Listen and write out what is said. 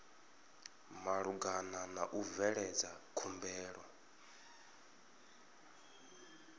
malugana na u bveledza khumbelo